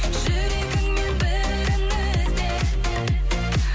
жүрегіңнен бірін ізде